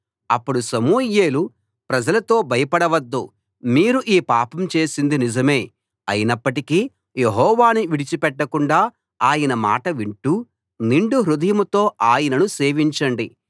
అప్పుడు సమూయేలు ప్రజలతో భయపడవద్దు మీరు ఈ పాపం చేసింది నిజమే అయినప్పటికీ యెహోవాను విడిచిపెట్టకుండా ఆయన మాట వింటూ నిండు హృదయంతో ఆయనను సేవించండి